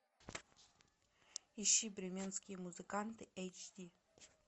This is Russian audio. ищи бременские музыканты эйч ди